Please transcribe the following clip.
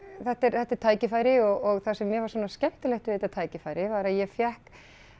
þetta er tækifæri og það sem mér fannst svona skemmtilegt við þetta tækifæri var að ég fékk